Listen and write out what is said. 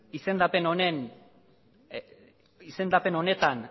izendapen honetan